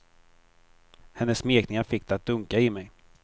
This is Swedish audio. Hennes smekningar fick det att dunka i mig.